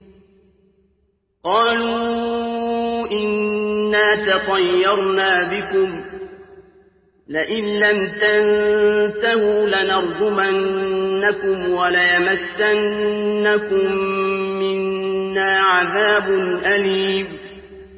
قَالُوا إِنَّا تَطَيَّرْنَا بِكُمْ ۖ لَئِن لَّمْ تَنتَهُوا لَنَرْجُمَنَّكُمْ وَلَيَمَسَّنَّكُم مِّنَّا عَذَابٌ أَلِيمٌ